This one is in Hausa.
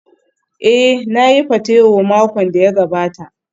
Ee, na yi patewo makon da ya gabata.